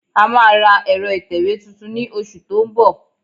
A máa ra ẹ̀rọ ìtẹ̀wé tuntun ní oṣù tó ń bọ̀